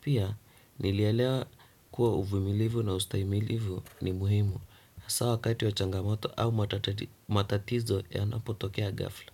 Pia nili alewa kuwa uvumilivu na ustaimilivu ni muhimu. Hasaa wakati wa changamoto au matatizo yanapotokea ghafla.